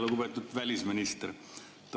Lugupeetud välisminister!